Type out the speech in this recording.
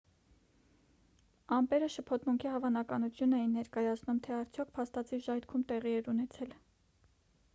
ամպերը շփոթմունքի հավանականություն էին ներկայացնում թե արդյոք փաստացի ժայթքում տեղի էր ունեցել